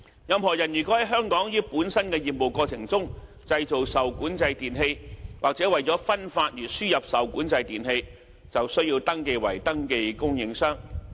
任何人如在香港於本身業務過程中製造受管制電器，或為了分發而輸入受管制電器，便須登記為登記供應商。